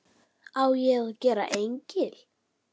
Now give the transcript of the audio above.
Á ég að gera engil?